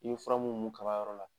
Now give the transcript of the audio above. I ye fura mu mun kaba yɔrɔ la